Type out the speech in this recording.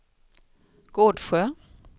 Gårdsjö